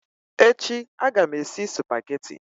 Echi aga m esi Supagetii